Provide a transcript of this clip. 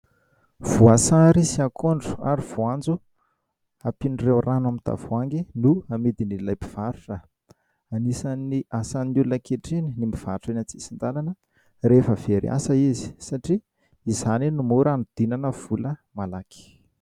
Voasary sy akondro ary voanjo ampian'ireo rano amin'ny tavoahangy no amidin'ilay mpivarotra. Anisan'ny asan'ny olona ankehitriny ny mivarotra eny an-tsisin-dalana rehefa very asa izy satria izany no mora hanodinana vola malaky.